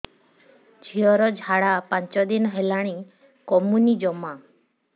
ଝିଅର ଝାଡା ପାଞ୍ଚ ଦିନ ହେଲାଣି କମୁନି ଜମା